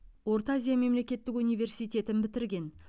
орта азия мемлекеттік университетін бітірген